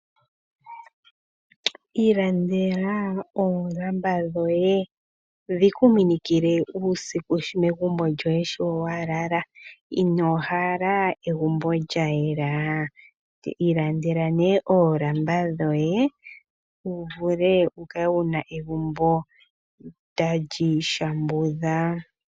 Ilandela oolamba dhoye dhi ku minikile uusiku megumbo lyoye sho wa hala. Ino hala egumbo lya yela? Ilandela oolamba dhoye wu kale wu na egumbo tali shambudha.